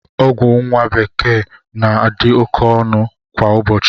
Ọgwụ nwa bekee na-adazi oké ọnụ kwa ụbọchị